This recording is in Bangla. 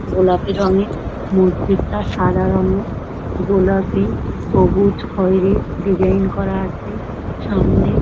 গোলাপি রঙের মসজিদ -টা সাদা রঙের গোলাপি সবুজ খয়েরি ডিজাইন করা আছে সামনে।